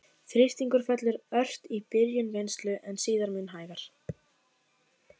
Þrýstingur fellur ört í byrjun vinnslu, en síðan mun hægar.